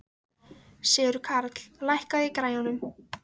Sigurkarl, lækkaðu í græjunum.